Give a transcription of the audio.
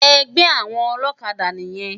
Ègbè áwòn òlòkádà niyèn